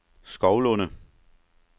Skovlunde